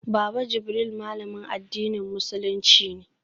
Baba Jibril malamin addinin musulunci ne